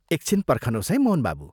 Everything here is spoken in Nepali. एकछिन पर्खनोस् है, मोहन बाबू!